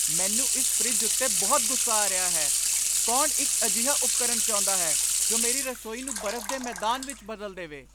ਮੈਨੂੰ ਇਸ ਫਰਿੱਜ ਉੱਤੇ ਬਹੁਤ ਗੁੱਸਾ ਆ ਰਿਹਾ ਹੈ, ਕੌਣ ਇੱਕ ਅਜਿਹਾ ਉਪਕਰਣ ਚਾਹੁੰਦਾ ਹੈ ਜੋ ਮੇਰੀ ਰਸੋਈ ਨੂੰ ਬਰਫ਼ ਦੇ ਮੈਦਾਨ ਵਿੱਚ ਬਦਲ ਦੇਵੇ?